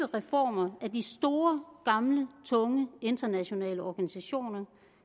reformer af de store gamle tunge internationale organisationer